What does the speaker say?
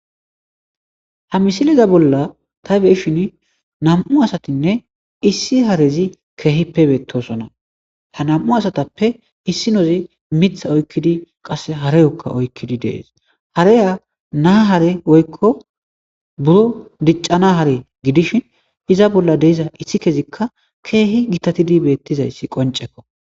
Ha misiliza bolla ta beshin nam7u asatinne issi harezi keehippe beettosona ha nam7u asatappe issi nozi mitha oykkidi qasse harayokka oykkidi dees haraya naa hare woykko buro diccana hare gidishin iza bolla deiza issi kezikka keehi gitatidi beettizayssi qoncekko.